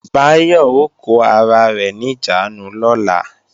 Báyọ̀ ó kó ara rẹ̀ níjàánu lọ́la